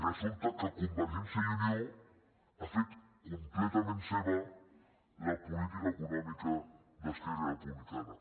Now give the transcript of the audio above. resulta que per convergència i unió ha fet completament seva la política econòmica d’esquerra republicana